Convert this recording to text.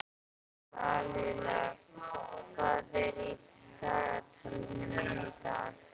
Lalíla, hvað er í dagatalinu mínu í dag?